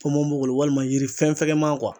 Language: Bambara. ponpopogolon walima yiri fɛn fɛgɛman kuwa